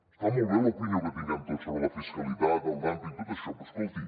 està molt bé l’opinió que tinguem tots sobre la fiscalitat el dúmping i tot això però escolti